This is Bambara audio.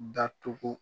Datugu